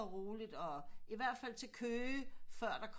Og roligt og i hvert fald til Køge før der kommer